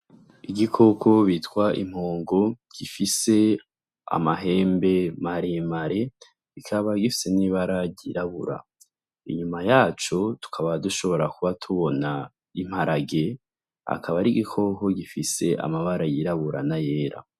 Igikoko bitwa inkongo gifise amahembe maremare kikaba gifise n'ibara ry'irabura inyuma yaco tukaba dushobora kuba tubona imparage akaba ari igikoko gifise amabara y'irabura n'ayera.